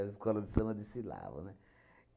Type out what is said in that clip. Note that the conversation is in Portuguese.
As escolas de samba desfilavam, né?